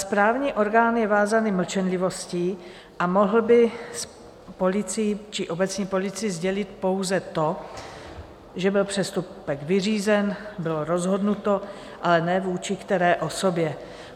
Správní orgán je vázaný mlčenlivostí a mohl by policii či obecní policii sdělit pouze to, že byl přestupek vyřízen, bylo rozhodnuto, ale ne, vůči které osobě.